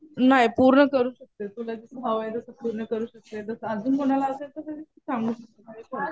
नाही. पूर्ण करू शकते. तुला जस हवं तसं पूर्ण करू शकते. जसं अजून कुणाला असेल तसं तर सांगू शकते.